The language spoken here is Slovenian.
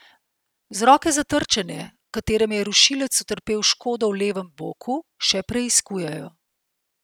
Vzroke za trčenje, v katerem je rušilec utrpel škodo v levem boku, še preiskujejo.